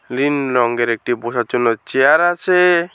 নীল রঙের একটি বসার জন্য চেয়ার আছে।